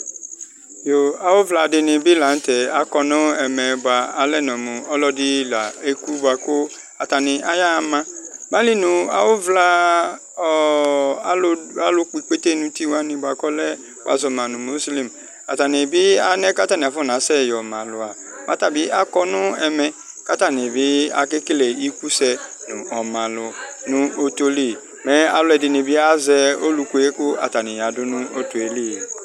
Yooo awʋvla dɩnɩ la n'tɛ akɔ nʋ ɛmɛ bʋa alɛnɔ mʋ ɔlɔdɩ la eku bʋa kʋ atanɩ ayaɣa ma Mɛ ayili nʋ awʋvla, ɔɔ alʋ kpɔ ikpete n'uti wani bʋa k'ɔlɛ, wazɔ ma nʋ mɔslɛm atanɩ bɩ alɛkatanɩ asɛ yɔ ma alʋ aa mɛ ata bɩ akɔ nʋ ɛmɛ, k'atanɩ bɩ akekele ikusɛ nʋ ɔmalʋ nʋ ɔtɔli mɛ alʋɛdɩnɩ bɩ azɛ ɔluku yɛ kʋ atanɩ ayɔ adʋ nʋ ɔto yɛ li